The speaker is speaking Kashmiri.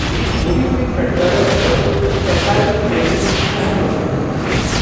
پلیز موبی کُوِک پٮ۪ٹھ کَر رٮ۪تُک ایس آٮٔی پی پیمنٹ شےٚ ہَتھ رۄپیَن ہٕنٛز تصدیق۔